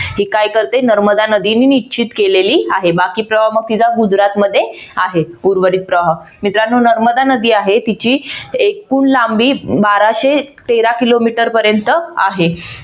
ही काय करते नर्मदा नदीने निश्चित केलेली आहे. बाकी प्रवाह मग तिचा गुजरात मध्ये आहे उर्वरित प्रवाह मित्रानो नर्मदा नदी आहे तिची एकूण लांबी बाराशे तेरा किलोमीटर पर्यंत आहे.